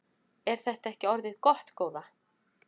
Er þetta ekki orðið gott góða?